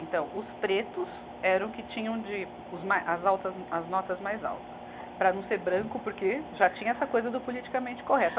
Então, os pretos eram que tinham de, os ma, as altas, as notas mais altas, para não ser branco, porque já tinha essa coisa do politicamente correto.